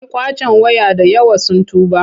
Yan ƙwacen waya da yawa sun tuba.